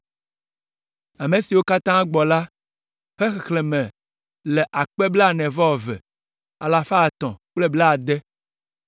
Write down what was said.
Ame siwo katã gbɔ la ƒe xexlẽme le akpe blaene-vɔ-eve alafa etɔ̃ kple blaade (42,360).